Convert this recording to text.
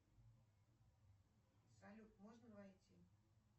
салют можно войти